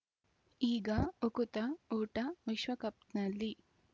ಈಗ ಉಕುತ ಊಟ ವಿಶ್ವಕಪ್‌ನಲ್ಲಿ